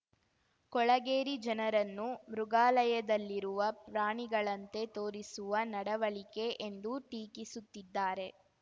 ಕೊಳಗೇರಿ ಜನರನ್ನು ಮೃಗಾಲಯದಲ್ಲಿರುವ ಪ್ರಾಣಿಗಳಂತೆ ತೋರಿಸುವ ನಡವಳಿಕೆ ಎಂದು ಟೀಕಿಸುತ್ತಿದ್ದಾರೆ